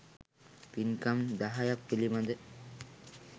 පින්කම් දහයක් පිළිබඳ